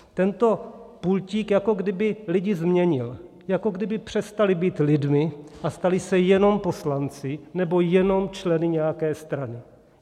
Tento pultík jako kdyby lidi změnil, jako kdyby přestali být lidmi a stali se jenom poslanci nebo jenom členy nějaké strany.